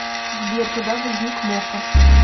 сбер когда возник мока